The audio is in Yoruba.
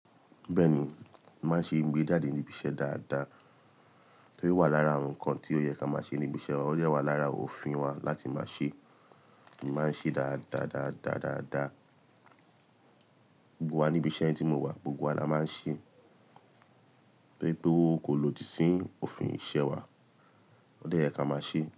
Bẹ́ẹ̀ ni, máa ṣe ìgbéjáde níbi iṣẹ́ dáadáa. Ó wà lára ǹkan tí ó yẹ ká máa ṣe níbi iṣẹ́, ó dẹwà lára òfin wa láti máa ṣe, èmi máa ń ṣe dáadáa, dáadáa, dáadáa. Gbogbo wa ní ibi iṣẹ́ tí mo wà, gbogbo wa la máa ń ṣe. Rí pé kò lòdì sí òfin iṣẹ́ wa. Ó dẹ yẹ ká máa ṣe.